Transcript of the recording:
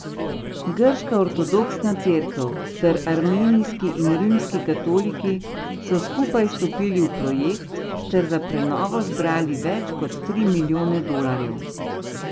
Grška ortodoksna cerkev ter armenijski in rimski katoliki so skupaj stopili v projekt ter za prenovo zbrali več kot tri milijone dolarjev.